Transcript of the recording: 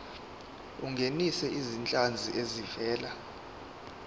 ungenise izinhlanzi ezivela